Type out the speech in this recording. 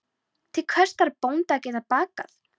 Til hvers þarf bóndi að geta bakað?